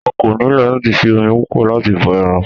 O kò nílò láti fi omi púpọ̀ láti bọ ẹran.